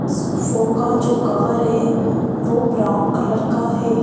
Show show का जो cover है वो ब्राउन कलर का है।